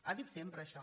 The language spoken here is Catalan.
ha dit sempre això